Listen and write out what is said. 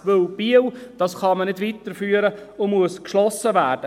Denn Biel kann man nicht weiterführen, es muss geschlossen werden.